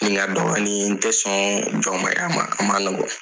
Nin ka dɔgɔ ni n ye n tɛ sɔn jɔnmaaya ma a man nɔgɔ.